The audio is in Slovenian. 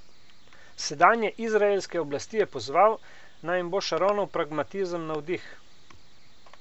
Sedanje izraelske oblasti je pozval, naj jim bo Šaronov pragmatizem navdih.